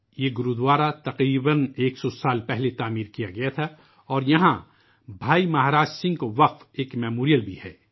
یہ گورودوارہ سو سال پہلے تعمیر کیا گیا تھا اور یہاں بھائی مہاراج سنگھ کو وقف کیا گیا ایک میمورئیل بھی ہے